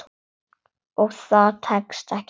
Og það tekst ekki alltaf.